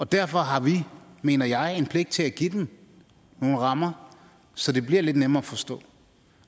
derfor har vi mener jeg en pligt til at give dem nogle rammer så det bliver lidt nemmere at forstå